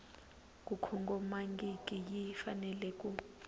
ku kongomangiki yi fanele ku